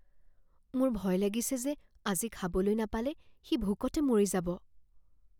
মোৰ ভয় লাগিছে যে আজি খাবলৈ নাপালে সি ভোকতে মৰি যাব